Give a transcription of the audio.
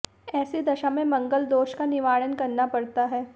ऐसी दशा में मंगल दोष का निवारण करना पड़ता है